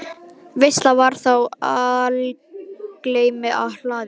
Veisla var þá í algleymi á hlaði.